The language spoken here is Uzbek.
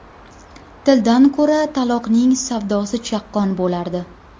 Tildan ko‘ra taloqning savdosi chaqqon bo‘lardi.